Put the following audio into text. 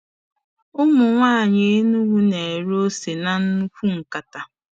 Ụmụ nwanyị Enugwu na-ere ose na nnukwu nkata.